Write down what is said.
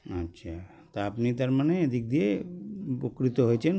আচ্ছা তা আপনি তারমানে এদিক দিয়ে উ উপকৃত হয়েছেন